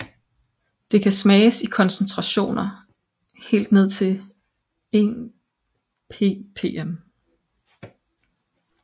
Det kan smages i koncentrationer helt ned til 1 ppm